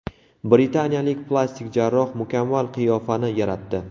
Britaniyalik plastik jarroh mukammal qiyofani yaratdi.